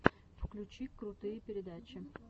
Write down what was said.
включи крутые передачи